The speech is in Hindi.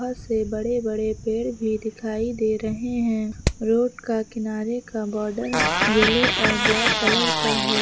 बहोत से बड़े बड़े पेड़ भी दिखाई दे रहे हैं रोड का किनारे का बॉर्डर येलो और ब्लैक कलर का है।